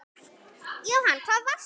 Jóhann, hvað er að gerast?